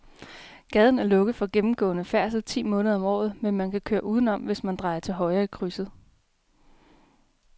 Gaden er lukket for gennemgående færdsel ti måneder om året, men man kan køre udenom, hvis man drejer til højre i krydset.